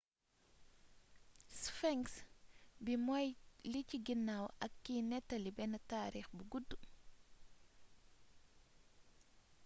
sphinx bi mooy li ci ginnaw ak kiy néttali benn taarix bu gudd